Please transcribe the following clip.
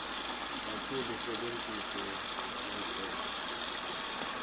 kakhulu usebentise imitsetfo